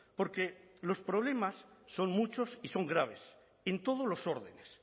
porque los problemas son muchos y son graves en todos los órdenes